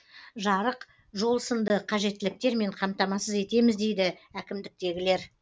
жарық жол сынды қажеттіліктермен қамтамасыз етеміз дейді әкімдіктегілер